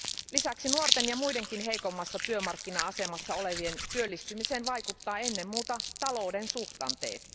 Lisäksi nuorten ja muidenkin heikommassa työmarkkina asemassa olevien työllistymiseen vaikuttaa ennen muuta talouden suhdanteet.